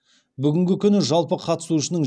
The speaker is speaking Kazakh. бүгінгі күні жалпы қатысушының